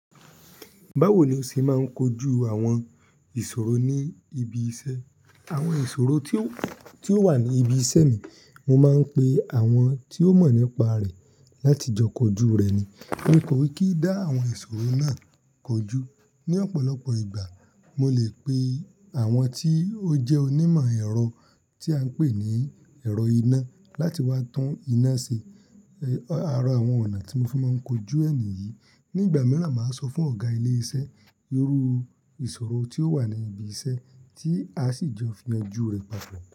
Báwo ni o ṣe máa ń kojú àwọn ìṣòro ní ibi iṣẹ́? Àwọn ìṣòro tí ó wà ní ibi iṣẹ́ mi, mo máa ń pe àwọn tí ó mọ̀ nípa rẹ̀ láti jọ kojú rẹ̀ ni. Mo kò ì kí dá àwọn ìṣòro náà kojú. Ni ọ̀pọ̀lọpọ̀ ìgbà, mo lè pe àwọn tí ó jẹ́ onímọ̀ ẹ̀rọ tí à ń pè ní ẹ̀rọ iná láti wá tun iná ṣe. Ẹ̀, Àra àwọn ọ̀nà tí mo fi máa ń kojú è nìyí, nígbà mìíràn, màá sọ fún ọ̀gá ilé iṣẹ́ irú ìṣòro tí ó wà ní ibi iṣẹ́ tí a sì jọ yanju re papo.